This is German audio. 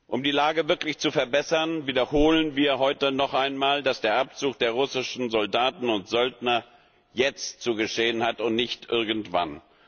Um die Lage wirklich zu verbessern, wiederholen wir heute noch einmal, dass der Abzug der russischen Soldaten und Söldner jetzt zu geschehen hat und nicht irgendwann.